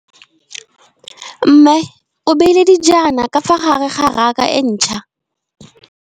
Mmê o beile dijana ka fa gare ga raka e ntšha.